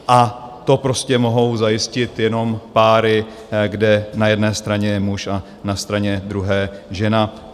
A to prostě mohou zajistit jenom páry, kde na jedné straně je muž a na straně druhé žena.